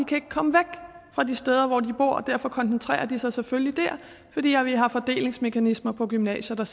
kan komme væk fra de steder hvor de bor og derfor koncentrerer de sig selvfølgelig der fordi vi har fordelingsmekanismer på gymnasierne